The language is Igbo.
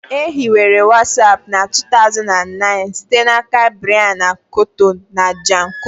E hiwere Watsapụ na 2009 site n'aka Brian Acton na Jan koum